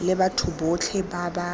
le batho botlhe ba ba